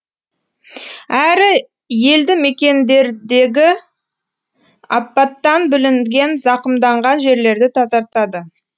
әрі елді мекендердегі апаттан бүлінген зақымданған жерлерді тазартады